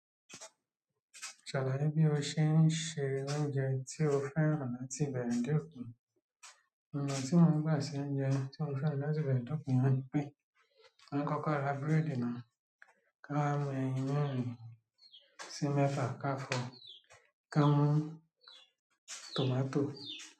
Ṣàlàyé bí o ṣe ń se oúnjẹ tí o fẹ́ràn láti ìbẹ̀rẹ̀ dé òpin. Òun à tí mo ń gbà se oúnjẹ tí mo fẹ́ràn láti ìbẹ̀rẹ̀ dé òpin ni pé, mo ń kọ́kọ́ ra búrẹ́dì náà, ká mu eyín mẹ́rin sí mẹ́fà ká fo, ká mú tòmátò.